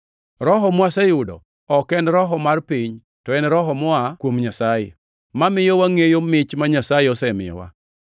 Roho mwaseyudo ok en roho mar piny, to en Roho moa kuom Nyasaye, mamiyo wangʼeyo mich ma Nyasaye osemiyowa.